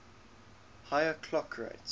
higher clock rates